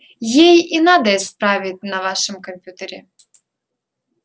ей и надо исправить на вашем компьютере